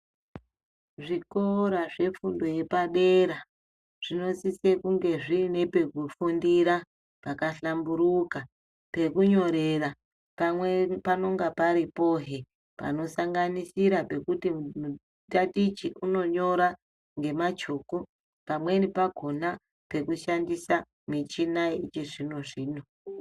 Zvikora zvefundo yepadera zvinosise kunge zviine pekufundira pakahlamburuka. Pekunyorera pamwe panonga paripohe panosanganisira pekuti mutatichi unonyora ngemachoko. Pamweni pakona pekushandisa michina yechizvino-zvino.